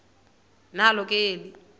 nalo ke eli